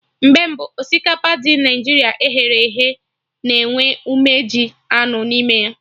Mgbe mbụ, osikapa ndị Naịjirịa e ghere eghe na enwe umeji anụ n'ime ya